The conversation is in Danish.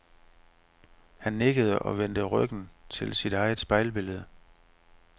Han nikkede og vendte ryggen til sit eget spejlbillede.